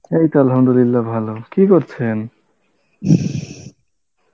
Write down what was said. এই তো Arbi ভালো, কী করছেন?